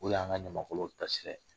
O re y'an ka ɲamakalaw tasira.